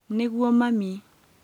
Nĩguo mami